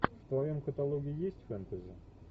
в твоем каталоге есть фэнтези